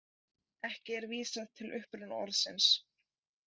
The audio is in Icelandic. Ekki er vísað til uppruna orðsins.